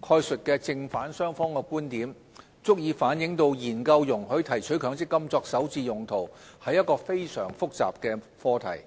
概述正反雙方的觀點，足以反映研究容許提取強積金作首置用途，是一個非常複雜的課題。